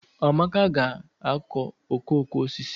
Amaka ga-akụ okooko osisi